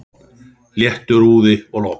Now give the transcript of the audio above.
Léttur úði og logn.